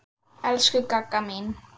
Elsku Gagga mín.